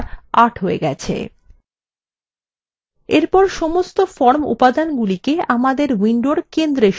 এরপর সমস্ত form উপাদান আমাদের window centre সরিয়ে আনা যাক